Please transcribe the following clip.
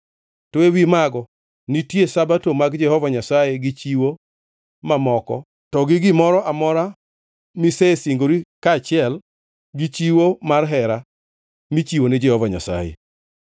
To ewi mago nitie Sabato mag Jehova Nyasaye gi chiwo mamoko to gi gimoro amora misesingori kaachiel gi chiwo mar hera michiwo ni Jehova Nyasaye.)